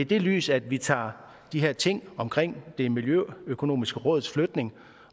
det lys at vi tager de ting omkring det miljøøkonomiske råds flytning